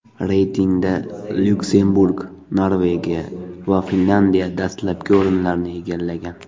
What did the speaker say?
Reytingda Lyuksemburg, Norvegiya va Finlandiya dastlabki o‘rinlarni egallagan.